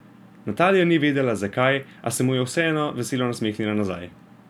Natalija ni vedela, zakaj, a se mu je vseeno veselo nasmehnila nazaj.